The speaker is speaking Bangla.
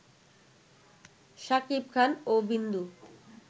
শাকিব খান ও বিন্দু